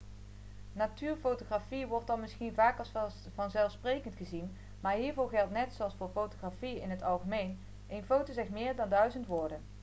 natuurfotografie wordt dan misschien vaak als vanzelfsprekend gezien maar hiervoor geldt net zoals voor fotografie in het algemeen een foto zegt meer dan duizend woorden